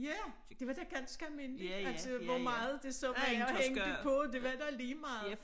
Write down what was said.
Ja det var da ganske almindeligt altså hvor meget det så var der hængte på det var da ligemeget